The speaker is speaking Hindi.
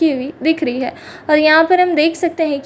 की हुई दिख रही है और यहां पर हम देख सकते हैं कि --